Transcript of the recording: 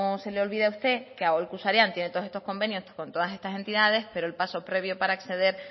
se le olvide a usted que aholku sarean tiene todos estos convenios con todas estas entidades pero el paso previo para acceder